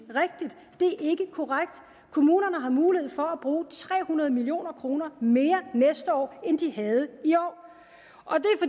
korrekt kommunerne har mulighed for at bruge tre hundrede million kroner mere næste år end de havde i år og